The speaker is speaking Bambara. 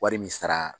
Wari min sara